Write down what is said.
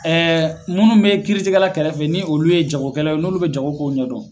munnu bɛ kiiritigɛla kɛrɛfɛ ni olu ye jagokɛla ye n'olu bɛ jagokow ɲɛdɔn.